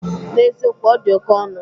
N'ezikowu, ọ di oke ọnụ